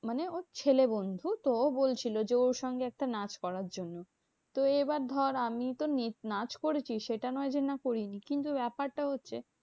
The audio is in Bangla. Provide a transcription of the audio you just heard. মানে ওর ছেলে বন্ধু তো ও বলছিলো যে, ওর সঙ্গে একটা নাচ করার জন্য। তো এবার ধর আমি তো নেচে নাচ করেছি। সেটা না হয় সেটা নয় যে না করিনি। কিন্তু ব্যাপারটা হচ্ছে